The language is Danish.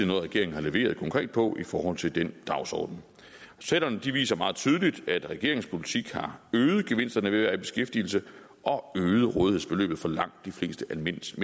noget regeringen har leveret konkret på i forhold til den dagsorden selv om det viser meget tydeligt at regeringens politik har øget gevinsterne ved at være i beskæftigelse og øget rådighedsbeløbet for langt de fleste almindelige